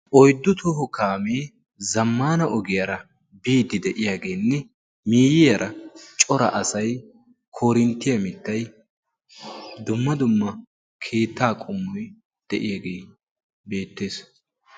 oyddu toho kaamee zammana ogiyaara biiddi de'iyaageenne miyiyaara cora asay korinttiyaa mittay dumma dumma keettaa qummoy de'iyaagee beettees